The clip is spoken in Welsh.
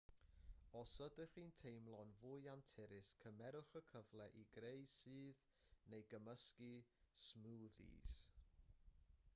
os ydych chi'n teimlo'n fwy anturus cymerwch y cyfle i greu sudd neu gymysgu smwddis